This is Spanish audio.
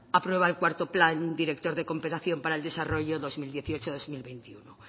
acuerda el cuarto plan director de cooperación para el desarrollo dos mil dieciocho dos mil veintiuno